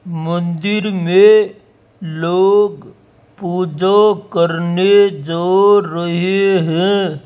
मंदिर में लोग पूजा करने जो रहे हैं।